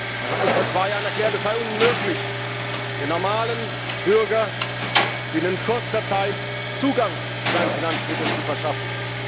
Man hat uns vor zwei Jahren erklärt, es sei unmöglich, dem normalen Bürger binnen kurzer Zeit Zugang zu seinen Finanzmitteln zu verschaffen.